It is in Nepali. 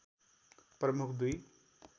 प्रमुख दुई